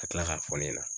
Ka tila k'a fɔ ne ɲɛna